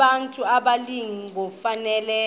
abantu abalili ngokufanayo